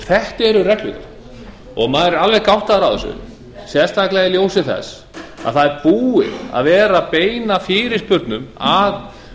þetta eru reglurnar og maður er alveg gáttaður á þessu sérstaklega í ljósi þess að það er búið að vera að beina fyrirspurnum að